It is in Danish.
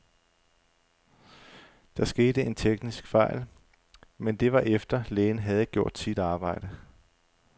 Der skete en teknisk fejl, men det var efter, lægen havde gjort sit arbejde.